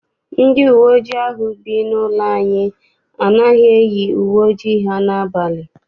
Ndị uwe ojii ahụ bụ n'ụlọ anyị anaghị eyi uwe ojii ha n'abalị.